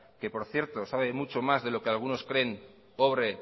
que por cierto sabe mucho más de lo que algunos creen obre